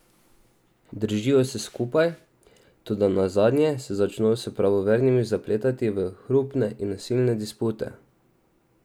Držijo se skupaj, toda nazadnje se začno s pravovernimi zapletati v hrupne in nasilne dispute.